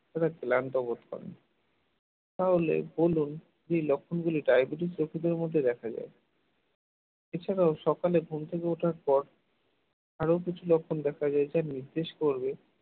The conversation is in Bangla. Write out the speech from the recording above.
যারা ক্লান্ত বোধ করেন তাহলে বলুন এই লক্ষণগুলি diabetes রোগীদের মধ্যে দেখা যায় এছাড়াও সকালে ঘুম থেকে ওঠার পর আরো কিছু লক্ষণ দেখা যায় যেটা নির্দেশ করবে